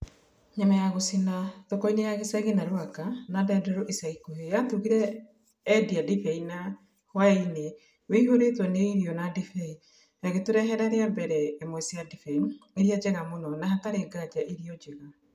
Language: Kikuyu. Nyama ya gũcina, thokoinĩ ya gĩcagi na Rũaka, na Ndenderu ica ikuhĩ yatugire endi a ndibei na hũaini wĩihũritwo nĩ irio na ndibei, agĩtũrehera rĩa mbere imwe cia ndibei iria njega mũno na hatarĩ nganja irio njega.